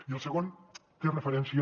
i el segon té referència